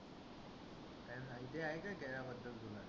काही माहिती आहे का खेळा बद्दल तुला?